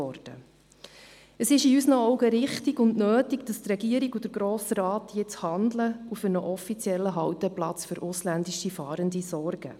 Es ist aus unserer Sicht richtig und nötig, dass die Regierung und der Grosse Rat jetzt handeln und für einen offiziellen Halteplatz für ausländische Fahrende sorgen.